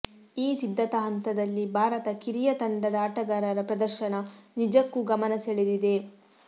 ಈ ಸಿದ್ಧತಾ ಹಂತದಲ್ಲಿ ಭಾರತ ಕಿರಿಯ ತಂಡದ ಆಟಗಾರರ ಪ್ರದರ್ಶನ ನಿಜಕ್ಕೂ ಗಮನ ಸೆಳೆದಿದೆ